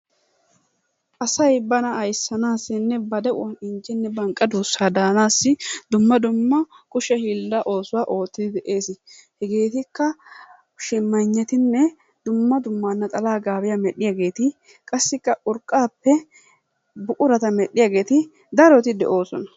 Asay bana aysanaassinne ba de'uwan injjenne banqqa duussaa daannaasi dumma dumma kushshe hiillaa oosuwaa oottidi de'ees. Hegeetikka Shimaynetinne dumma dumma naxalaa gaabiya medhdhiyageetti qassikka urqqaappe buqurata medhdhiyageeti daroti de'oosona.